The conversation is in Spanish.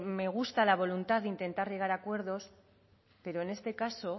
me gusta la voluntad de intentar llegar a acuerdos pero en este caso